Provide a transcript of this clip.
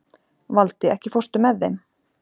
Valdi, ekki fórstu með þeim?